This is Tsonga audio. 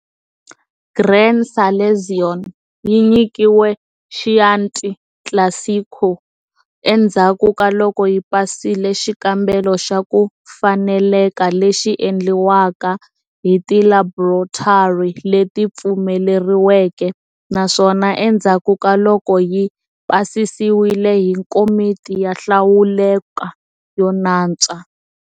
Gran Selezione yi nyikiwa Chianti Classico endzhaku kaloko yi pasile xikambelo xa ku faneleka lexi endliwaka hi ti laboratory leti pfumeleriweke, naswona endzhaku ka loko yi pasisiwile hi komiti yo hlawuleka yo nantswa.